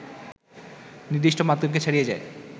নির্দিষ্ট মাধ্যমকে ছাড়িয়ে যায়